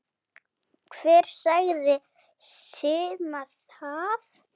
Hver sagði Simma það?